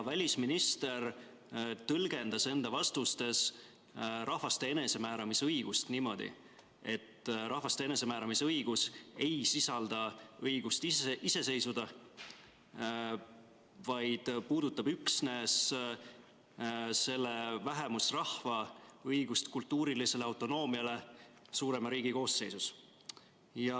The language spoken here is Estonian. Välisminister tõlgendas enda vastustes rahvaste enesemääramisõigust niimoodi, et rahvaste enesemääramisõigus ei sisalda õigust ise iseseisvuda, vaid puudutab üksnes konkreetse vähemusrahva õigust kultuurilisele autonoomiale suurema riigi koosseisus.